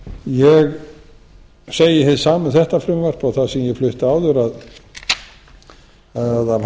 ég segi hið sama um þetta frumvarp og það sem ég flutti áður að af